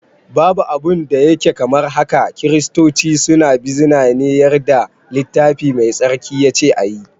Babu abun da yake kamar haka, kiristoci suna bizina ne yarda littafi mai tsarki yace ayi